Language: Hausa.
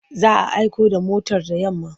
Za a aiko da motar da yamma.